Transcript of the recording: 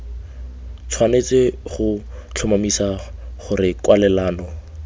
tshwanetse go tlhomamisa gore kwalelano